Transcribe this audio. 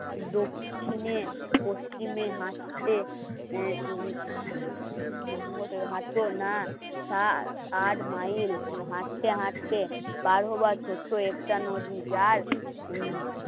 দক্ষিণে দক্ষিণে হাসছে না তার সাত আট মাইল হাঁটতে হাঁটতে পার হবার ছোট্ট একটা নদী যার